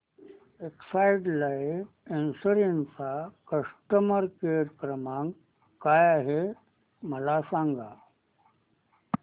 Exide life insurance चा customer care क्रमांक काय आहे मला सांगा